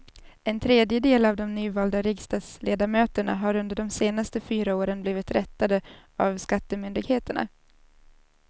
En tredjedel av de nyvalda riksdagsledamöterna har under de senaste fyra åren blivit rättade av skattemyndigheterna.